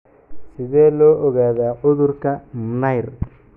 Sidee loo ogaadaa cudurka Mnire?